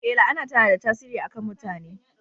Ee, la'ana tana da tasiri a kan mutane